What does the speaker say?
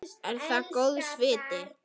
Er það góðs viti.